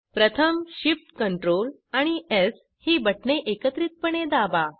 प्रथम Shift Ctrl आणि स् ही बटणे एकत्रितपणे दाबा